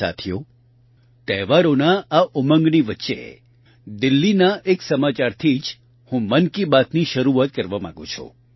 સાથીઓ તહેવારોના આ ઉમંગની વચ્ચે દિલ્લીના એક સમાચારથી જ હું મન કી બાતની શરૂઆત કરવા માંગું છું